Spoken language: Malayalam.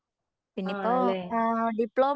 ആണല്ലേ